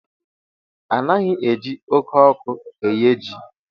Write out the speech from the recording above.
Anaghị eji oké ọkụ eye ji.